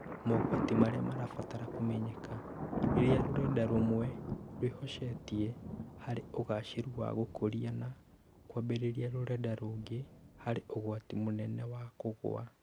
mogwati marĩa marabatara kũmenyeka. Rĩrĩa rũrenda rũmwe rwĩhocetie harĩ ũgaacĩru wa gũkũria na kwambĩrĩria rũrenda rũngĩ, harĩ ũgwati mũnene wa kũgũa.